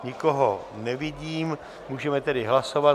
Nikoho nevidím, můžeme tedy hlasovat.